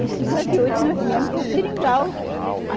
Em cinquenta e oito nós viemos para o Seringal.